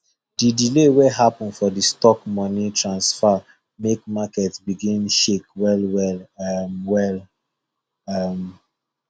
the delay wey happen for the stock money transfer make market begin shake well well um well um